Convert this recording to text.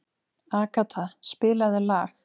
Agata, spilaðu lag.